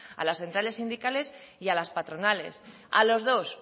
a las centrales sindicales y a las patronales a los dos